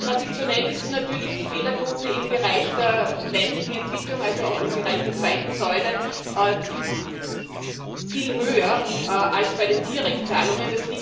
Traditionell ist natürlich die Fehlerquote im Bereich der ländlichen Entwicklung, also auch im Bereich der zweiten Säule, viel höher als bei den Direktzahlungen.